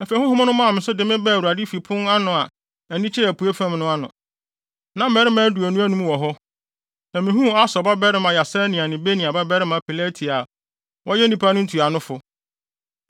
Afei honhom no maa me so de me baa Awurade fi pon a ani kyerɛ apuei fam no ano. Na mmarima aduonu anum wɔ hɔ, na mihuu Asur babarima Yaasania ne Benaia babarima Pelatia a wɔyɛ nnipa no ntuanofo.